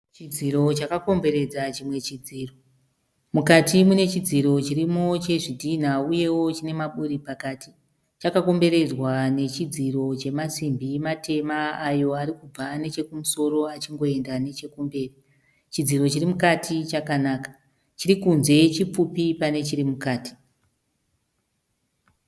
Chidziro chakakomberedza chimwe chidziro. Mukati mune chidziro chirimo chezvidhina uyewo chine mamaburi pakati. Chakakomberedzwa nechidziro chemasimbi matema ayo ari kubva nechekumusoro achingoenda nechekumberi. Chidziro chiri mukati chkanaka, chiri kunze chipfupi pane chiri mukati.